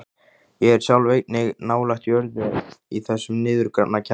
Ég sjálf er einnig nálægt jörðu í þessum niðurgrafna kjallara.